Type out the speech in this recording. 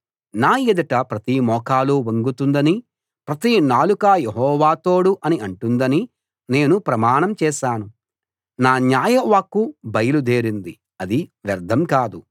నా ఎదుట ప్రతి మోకాలు వంగుతుందనీ ప్రతి నాలుకా యెహోవా తోడు అని అంటుందనీ నేను ప్రమాణం చేశాను నా న్యాయ వాక్కు బయలుదేరింది అది వ్యర్ధం కాదు